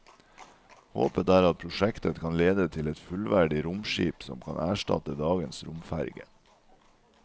Håpet er at prosjektet kan lede til et fullverdig romskip som kan erstatte dagens romferge.